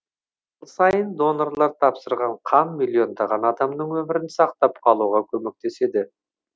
жыл сайын донорлар тапсырған қан миллиондаған адамның өмірін сақтап қалуға көмектеседі